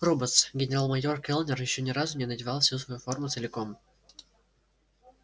роботс генерал-майор кэллнер ещё ни разу не надевал всю свою форму целиком